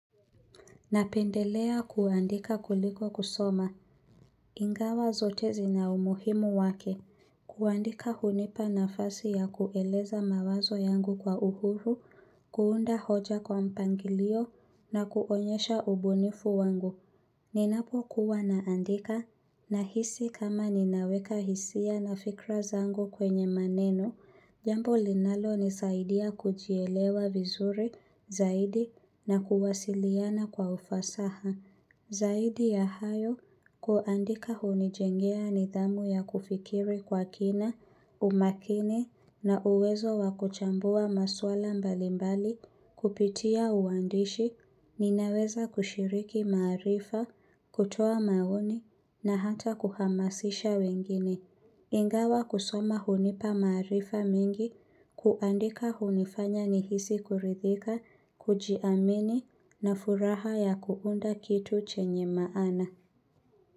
Napendelea kuandika kuliko kusoma. Ingawa zote zina umuhimu wake. Kuandika hunipa nafasi ya kueleza mawazo yangu kwa uhuru, kuunda hoja kwa mpangilio na kuonyesha ubunifu wangu. Ninapokuwa naandika, nahisi kama ninaweka hisia na fikra zangu kwenye maneno, jambo linalonisaidia kujielewa vizuri zaidi na kuwasiliana kwa ufasaha. Zaidi ya hayo, kuandika hunijengea nidhamu ya kufikiri kwa kina, umakini na uwezo wa kuchambua maswala mbalimbali kupitia uandishi, ninaweza kushiriki maarifa, kutoa maoni na hata kuhamasisha wengine. Ingawa kusoma hunipa maarifa mengi, kuandika hunifanya nihisi kuridhika, kujiamini, na furaha ya kuunda kitu chenye maana.